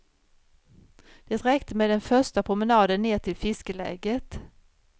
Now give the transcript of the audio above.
Det räckte med den första promenaden ner till fiskeläget.